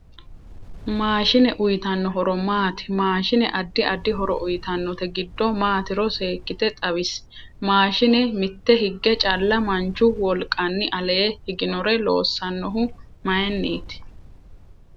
Maashine uyiitanno horo maati mashiine addi addi horo uyiitanote giddo maatiro seekite xawisi maashine mitte hige calla manchu wolqani alee higioore loosanohu mayiiniti